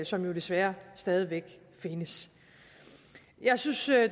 som jo desværre stadig væk findes jeg synes